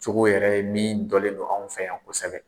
cogo yɛrɛ ye min dɔnnen don anw fɛ yan kosɛbɛ.